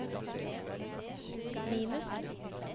minus